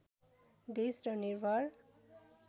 देश र निर्भर